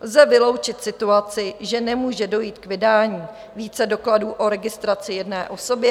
Lze vyloučit situaci, že nemůže dojít k vydání více dokladů o registraci jedné osobě?